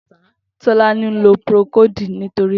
Tolani n ló prókód nitóri kàtá